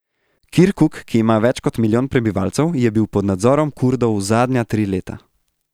Kirkuk, ki ima več kot milijon prebivalcev, je bil pod nadzorom Kurdov zadnja tri leta.